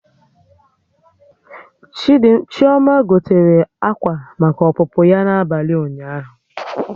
Chioma gotere akwa maka ọpụpụ ya n'abalị ụnyaahụ